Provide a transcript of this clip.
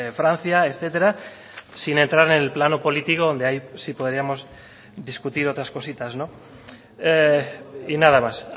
francia etcétera sin entrar en el plano político donde ahí sí podríamos discutir otras cositas y nada más